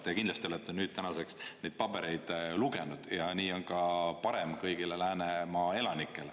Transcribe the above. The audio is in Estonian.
Te kindlasti olete nüüd tänaseks neid pabereid lugenud, ja nii on ka parem kõigile Läänemaa elanikele.